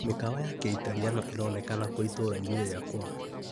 Mikawa ya Kĩitaliano ĩronekana kũ itũra-inĩ rĩakwa .